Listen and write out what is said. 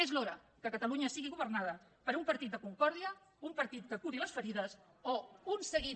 és l’hora que catalunya sigui governada per un partit de concòrdia un partit que curi les ferides o un seguit